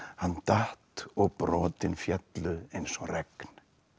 hann datt og brotin féllu eins og regn